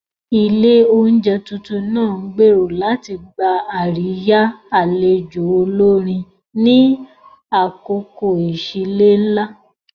Ilé oúnjẹ tuntun náà ń gbèrò láti gba àríyá àlejò olórin ni àkókò ìsílé ńlá.